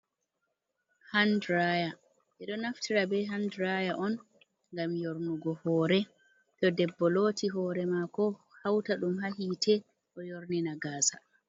Han ɗiraya ɓe ɗo naftira be han ɗiraya on ngam yornugo hore to debbo loti hore mako hauta dum ha hite ɗo yorni na gasa.